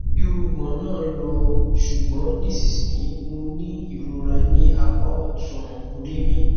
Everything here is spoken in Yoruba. irùngbọn náà lọ ṣùgbọn nísinsìnyí mo ní ìrora ní apá ọtún orí mi